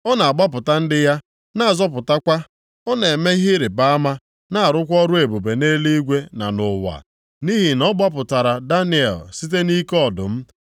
Ọ na-agbapụta ndị ya, na-azọpụtakwa. Ọ na-eme ihe ịrịbama na-arụkwa ọrụ ebube nʼeluigwe na nʼụwa. Nʼihi na ọ gbapụtara Daniel site nʼike ọdụm.”